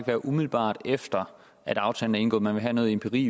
være umiddelbart efter at aftalen er indgået man vil have noget empiri